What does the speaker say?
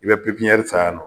I bɛ san yan nɔ